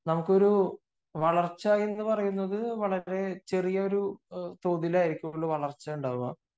നമുക്കൊരു വളർച്ച എന്ന് പറയുന്നത് ചെറിയ തോതിലായിരിക്കും നമുക്ക് വളർച്ച ഉണ്ടാവുക